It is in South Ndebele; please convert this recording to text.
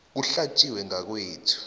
kuhlatjiwe ngakwethu